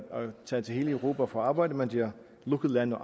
tage til hele europa for at arbejde mens det er lukket land